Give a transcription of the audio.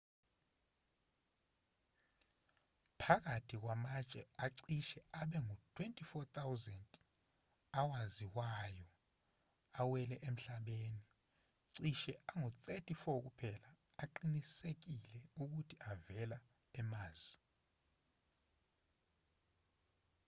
phakathi kwamatshe acishe abe ngu-24,000 awaziwayo awele emhlabeni cishe angu-34 kuphela aqinisekiswe ukuthi avela e-mars